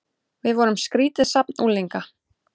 Við vorum skrýtið safn unglinga.